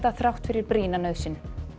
þrátt fyrir brýna nauðsyn